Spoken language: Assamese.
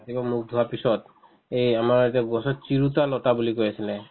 একবাৰ মুখ ধোৱাৰ পিছত এই আমাৰ যে গছত চিৰতা লতা বুলি কৈ আছিলে